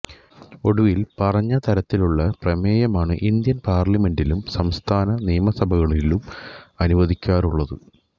ഒടുവിൽ പറഞ്ഞതരത്തിലുള്ള പ്രമേയമാണ് ഇന്ത്യൻ പാർലമെന്റിലും സംസ്ഥാന നിയമസഭകളിലും അനുവദിക്കാറുള്ളത്